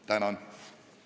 Tänan!